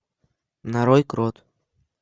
нарой крот